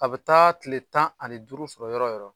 A be taa kile tan ani duuru sɔrɔ yɔrɔ yɔrɔ